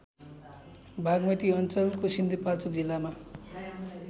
बागमती अञ्चलको सिन्धुपाल्चोक जिल्लामा